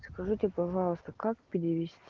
скажите пожалуйста как перевест